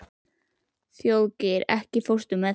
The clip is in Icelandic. Þjóðgeir, ekki fórstu með þeim?